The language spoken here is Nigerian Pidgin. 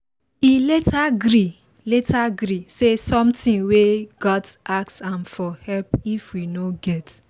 he later gree later gree say sometimes we gat ask am for help if we no get